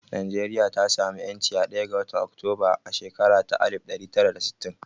Najeriya ta sa mu ƴanci a ɗaya ga watan Oktoba a shakara ta alif ɗari tara da sittin